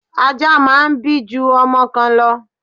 Ajá máà ń bí ju ọmọ kan lọ